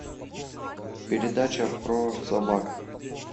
передача про собак